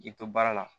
K'i to baara la